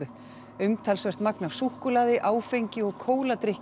umtalsvert magn af súkkulaði áfengi og